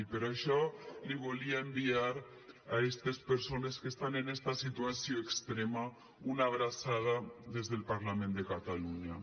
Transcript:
i per això els volia enviar a estes persones que estan en esta situació extrema una abraçada des del parlament de catalunya